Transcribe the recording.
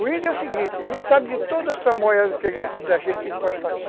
O índio é o seguinte, ele sabe de todos os tramoias da gente que a gente pode fazer.